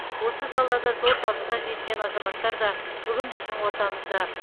осы салада зор табысқа жеткен азаматтар да бүгін біздің ортамызда